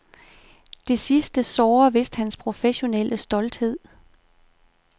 Det sidste sårer vist hans professionelle stolthed.